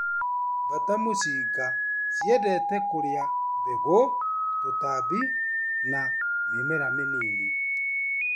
Mbata mũcinga ciendete kũrĩa mbegũ, tũtambi na mĩmera mĩnini.